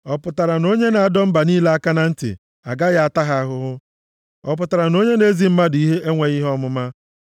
Ọ pụtara na onye na-adọ mba niile aka na ntị agaghị ata ha ahụhụ? Ọ pụtara na onye na-ezi mmadụ ihe enweghị ihe ọmụma?